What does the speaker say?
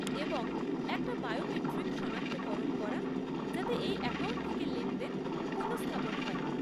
এবং একটা বায়োমেট্রিক সনাক্তকরণ করা, যাতে এই অ্যাকাউন্ট থেকে লেনদেন পুনঃস্থাপন হয়।